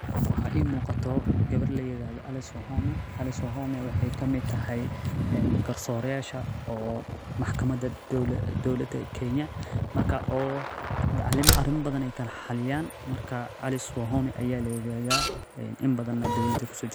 Waxaa ii muqato gabar layiraahdo ali sohome waxeey kamid tahay garsorayasha, wax ayeey xakiyaan, in badan neh dowlada ayeey kusoo jirte.